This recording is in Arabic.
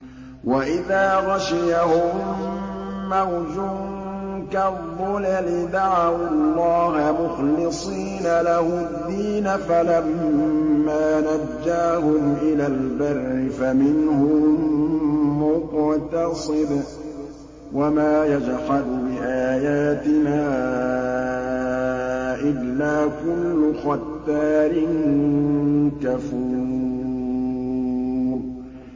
وَإِذَا غَشِيَهُم مَّوْجٌ كَالظُّلَلِ دَعَوُا اللَّهَ مُخْلِصِينَ لَهُ الدِّينَ فَلَمَّا نَجَّاهُمْ إِلَى الْبَرِّ فَمِنْهُم مُّقْتَصِدٌ ۚ وَمَا يَجْحَدُ بِآيَاتِنَا إِلَّا كُلُّ خَتَّارٍ كَفُورٍ